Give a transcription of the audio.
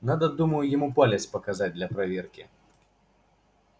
надо думаю ему палец показать для проверки